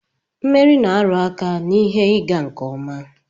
Mmeri na-aru aka na ihe ịga nke ọma